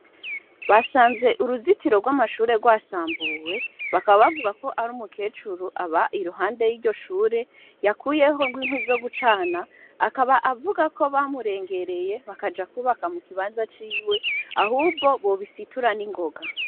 Basanze uruzitiro rw'amashure rwasambuwe bakabavuga ko ari umu kecuru aba iruhande y'iryo shure yakuyeho ngo inkwi zo gucana akaba avuga ko bamurengereye bakaja kubaka mu kibanza ciwe ahubwo bobisituran'ingoga.